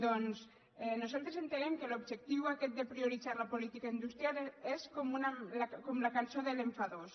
doncs nosaltres entenem que l’objectiu aquest de prioritzar la política industrial és com la cançó de l’enfadós